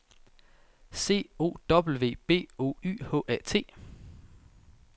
C O W B O Y H A T